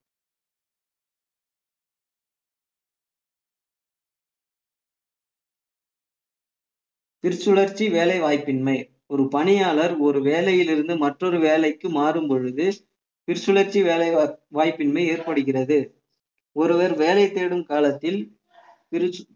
திருச்சுழர்ச்சி வேலைவாய்ப்பின்மை ஒரு பணியாளர் ஒரு வேலையிலிருந்து மற்றொரு வேலைக்கு மாறும் பொழுது திருச்சுழற்சி வேலை வாய்ப்பின்மை ஏற்படுகிறது ஒருவர் வேலை தேடும் காலத்தில்